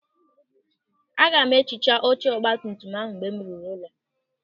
Aga m ehicha oche ọgbatumtum ahụ mgbe m ruru ụlọ.